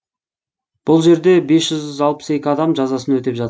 бұл жерде бес жүз алпыс екі адам жазасын өтеп жатыр